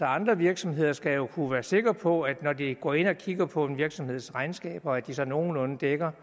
andre virksomheder skal jo kunne være sikre på at de når de går ind og kigger på en virksomheds regnskaber se det der nogenlunde dækker